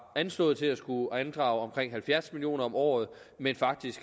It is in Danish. anslået til at skulle andrage omkring halvfjerds million kroner om året men faktisk